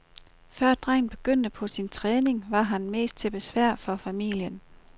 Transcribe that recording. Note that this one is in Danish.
Før drengen begyndte på sin træning, var han mest til besvær for familien.